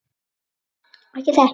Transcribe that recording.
Ekki þetta!